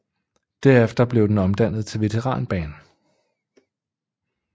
Derefter blev den omdannet til veteranbane